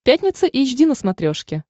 пятница эйч ди на смотрешке